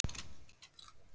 Fólk var sátt.